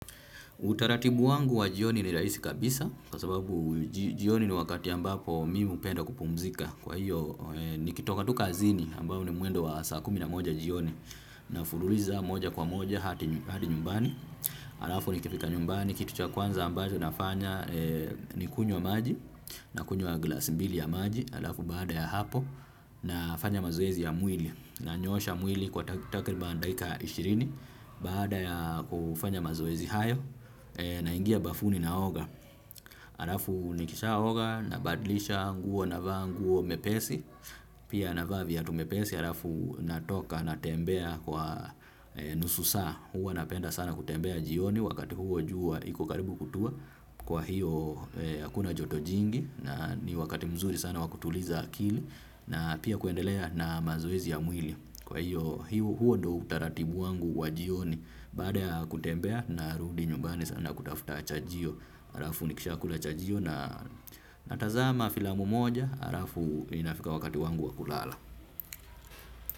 Utaratibu wangu wa jioni ni rahisi kabisa kwa sababu jioni ni wakati ambapo mimi hupenda kupumzika kwa hiyo nikitoka tu kazini ambapo ni mwendo wa saa kumi na moja jioni nafululiza moja kwa moja hadi nyumbani alafu nikifika nyumbani kitu cha kwanza ambayo nafanya ni kunywa maji nakunywa glasi mbili ya maji alafu baada ya hapo nafanya mazoezi ya mwili nanyoosha mwili kwa takriban dakika ishirini baada ya kufanya mazoezi hayo naingia bafuni naoga arafu nikishaoga nabadlisha nguo navaa nguo mepesi pia navaa viatu mepesi arafu natoka natembea kwa nusu saa huwa napenda sana kutembea jioni wakati huo jua iko karibu kutua kwa hiyo hakuna joto jingi na ni wakati mzuri sana wa kutuliza akili na pia kuendelea na mazoezi ya mwili kwa hiyo huo ndo utaratibu wangu wa jioni. Baada ya kutembea narudi nyumbani sana kutafuta chajio. Arafu nikishakula chajio na natazama filamu moja. Arafu inafika wakati wangu wa kulala.